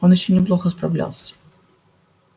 он ещё неплохо справлялся